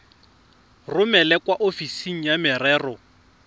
romele kwa ofising ya merero